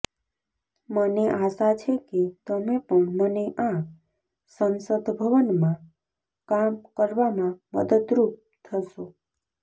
મને આશા છે કે તમે પણ મને આ સંસદભવનમાં કામ કરવામાં મદદરૂપ થશો